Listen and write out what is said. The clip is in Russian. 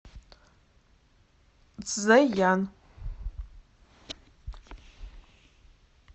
цзеян